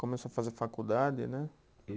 Começou a fazer faculdade, né?